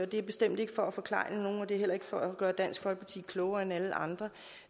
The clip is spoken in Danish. det er bestemt ikke for at forklejne nogen og det er heller ikke for at gøre dansk folkeparti klogere end alle andre